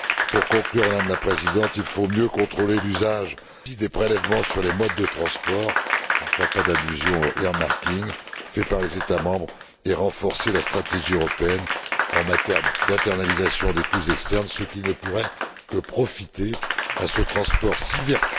Pour conclure, Madame la Présidente, il faut mieux contrôler l'usage des prélèvements sur les modes de transport je ne ferai pas d'allusion au earmarking fait par les États membres et renforcer la stratégie européenne en matière d'internalisation des coûts externes, ce qui ne pourrait que profiter à ce transport si vertueux qu'est le transport fluvial.